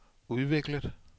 udviklet